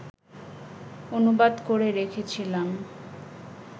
অনুবাদ করে রেখেছিলাম